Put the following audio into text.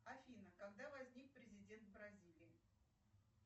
афина когда возник президент бразилии